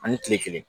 Ani kile kelen